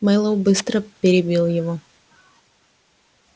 мэллоу быстро перебил его